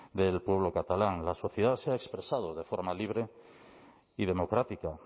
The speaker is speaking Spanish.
del pueblo catalán la sociedad se ha expresado de forma libre y democrática